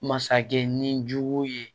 Masakɛ ni jugu ye